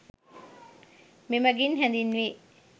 මෙමගින් හැඳින්වේ.